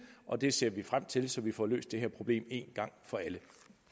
og det ser vi frem til så vi får løst det her problem en gang for alle